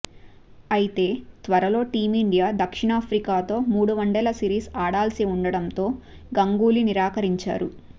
అయితే త్వరలో టీమిండియా దక్షిణాఫ్రికాతో మూడు వన్డేల సిరీస్ ఆడాల్సి ఉండటంతో గంగూలీ నిరాకరించారు